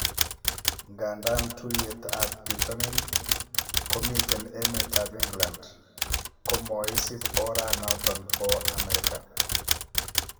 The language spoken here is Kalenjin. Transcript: Ngandan tuiyet ab bitonin, komiten emetab England, komoisib oranoton bo Amerika